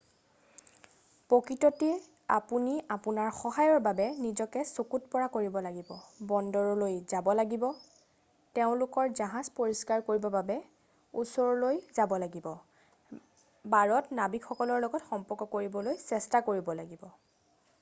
প্ৰকৃততে আপুনি আপোনাৰ সহায়ৰ বাবে নিজকে চকুত পৰা কৰিব লাগিব বন্দৰলৈ যাব লাগিব তেওঁলোকৰ জাহজ পৰিষ্কাৰ কৰিবৰ বাবে ওচৰলৈ যাব লাগিব বাৰত নাৱিক সকলৰ লগত সম্পৰ্ক কৰিবলৈ চেষ্টা কৰিব লাগিব